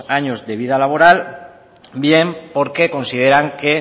años de vida laboral bien porque consideran que